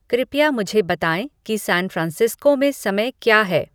कृपया मुझे बताएँ कि सैनफ्रांसिस्को में समय क्या है